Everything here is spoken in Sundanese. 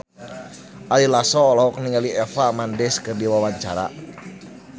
Ari Lasso olohok ningali Eva Mendes keur diwawancara